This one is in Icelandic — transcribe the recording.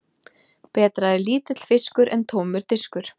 Betra er lítill fiskur en tómur diskur.